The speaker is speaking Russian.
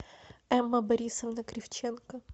эмма борисовна кривченко